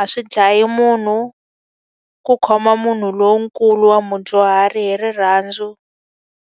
A swi dlaya munhu ku khoma munhu lonkulu wa mudyuhari hi rirhandzu.